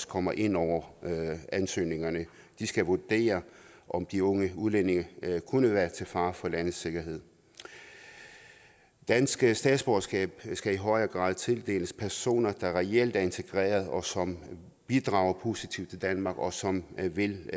kommer ind over ansøgningerne de skal vurdere om de unge udlændinge kunne være til fare for landets sikkerhed danske statsborgerskaber skal i højere grad tildeles personer der reelt er integreret og som bidrager positivt til danmark og som vil